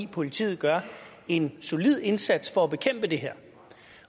politiet gør en solid indsats for at bekæmpe det her